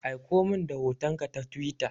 Aikomin da hotonka ta Twitter.